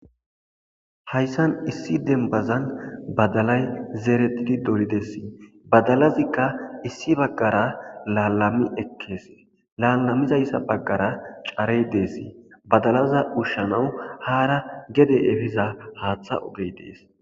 hayssan issi dembazan badalay zeeretidi dolidesi badalazikka issi baggara laalami ekkees laalamizayssa baggara carey deesi badalaza ushshanawu haara gede efiza haaththa ogey dees